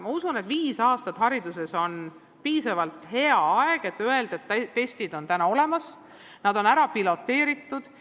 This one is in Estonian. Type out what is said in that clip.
Ma usun, et viis aastat on hariduses piisav aeg, et öelda, et nüüd on testid olemas ja järele proovitud.